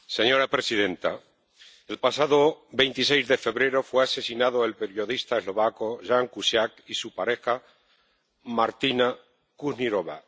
Señora presidenta, el pasado 26 de febrero fueron asesinados el periodista eslovaco Ján Kuciak y su pareja, Martina Kušnírová.